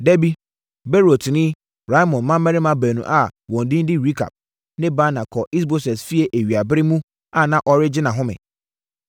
Dabi Beerotni, Rimon mmammarima baanu a wɔn din de Rekab ne Baana kɔɔ Is-Boset fie awia berɛ mu a na ɔregye nʼahome.